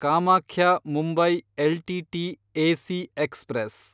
Kamakhya Mumbai LTT AC express